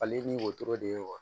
Fali ni wotoro de ye wa